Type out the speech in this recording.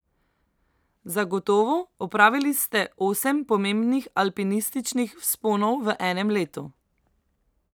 Zagotovo, opravili ste osem pomembnih alpinističnih vzponov v enem letu!